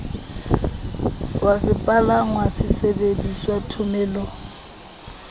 wa sepalangwa se sebedisitweng thomelong